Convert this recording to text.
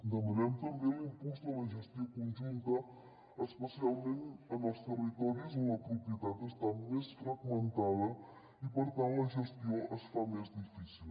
demanem també l’impuls de la gestió conjunta especialment en els territoris on la propietat està més fragmentada i per tant la gestió es fa més difícil